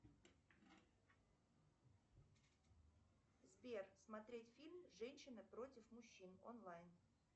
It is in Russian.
сбер смотреть фильм женщины против мужчин онлайн